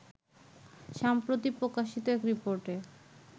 সম্প্রতি প্রকাশিত এক রিপোর্টে